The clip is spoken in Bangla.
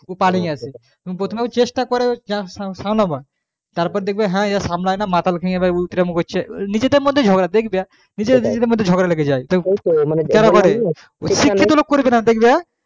তুমি প্রথমে চেষ্টা করো তারপর দেখবা হ্যাঁ আয় সামলাই না মাতাল খেয়ে এও ইতরামি করছে নিজেদের মধ্যে ঝগড়া দেখবা শিক্ষিত লোক করবে না দেখবা